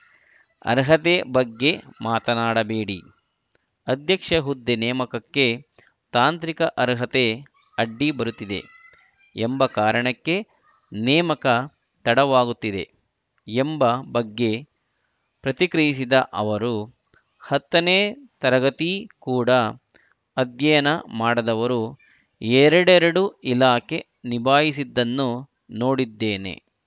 ಅರ್ಹತೆ ಬಗ್ಗೆ ಮಾತನಾಡಬೇಡಿ ಅಧ್ಯಕ್ಷ ಹುದ್ದೆ ನೇಮಕಕ್ಕೆ ತಾಂತ್ರಿಕ ಅರ್ಹತೆ ಅಡ್ಡಿ ಬರುತ್ತಿದೆ ಎಂಬ ಕಾರಣಕ್ಕೆ ನೇಮಕ ತಡವಾಗುತ್ತಿದೆ ಎಂಬ ಬಗ್ಗೆ ಪ್ರತಿಕ್ರಿಯಿಸಿದ ಅವರು ಹತ್ತನೇ ತರಗತಿ ಕೂಡ ಅಧ್ಯಯನ ಮಾಡದವರು ಎರಡೆರಡು ಇಲಾಖೆ ನಿಭಾಯಿಸಿದ್ದನ್ನು ನೋಡಿದ್ದೇನೆ